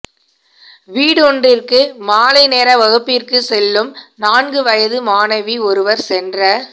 வீடொன்றிற்கு மாலை நேரவகுப்பிற்குச் செல்லும் நான்கு வயது மாணவி ஒருவர் சென்ற